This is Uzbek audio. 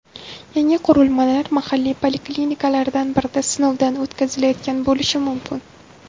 Yangi qurilmalar mahalliy poliklinikalardan birida sinovdan o‘tkazilayotgan bo‘lishi mumkin.